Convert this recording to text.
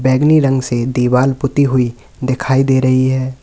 बैगनी रंग से दीवाल पुती हुई दिखाई दे रही है।